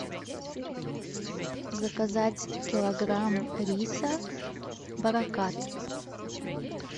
заказать килограмм риса баракат